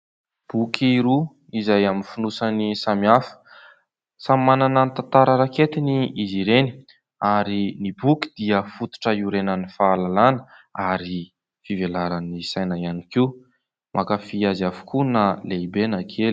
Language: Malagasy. Boky roa izay amin'ny fonosany samy hafa. Samy manana ny tantara raiketiny izy ireny ary ny boky dia fototra hiorenan'ny fahalalàna ary fivelaran'ny saina ihany koa. mankafy azy avokoa na lehibe na kely.